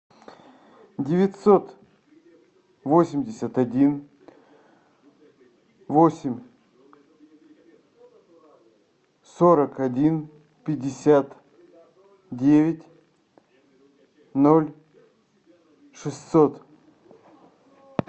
девятьсот восемьдесят один восемь сорок один пятьдесят девять ноль шестьсот